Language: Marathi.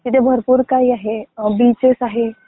म्हणजे भरपूर काही आहे. बीचेस आहे,